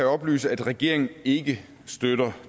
oplyse at regeringen ikke støtter